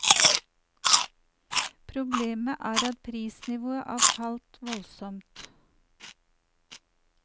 Problemet er at prisnivået er falt voldsomt.